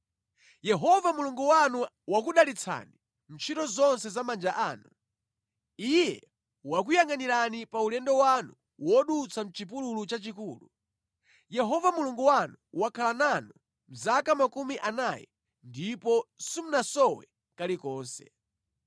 Yehova Mulungu wanu wakudalitsani mʼntchito zonse za manja anu. Iye wakuyangʼanirani pa ulendo wanu wodutsa mʼchipululu chachikulu. Yehova Mulungu wanu wakhala nanu mʼzaka makumi anayi, ndipo simunasowe kalikonse.